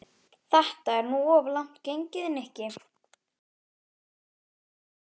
Þetta er nú of langt gengið, Nikki.